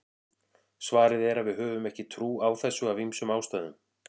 svarið er að við höfum ekki trú á þessu af ýmsum ástæðum